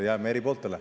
– jääme eri pooltele.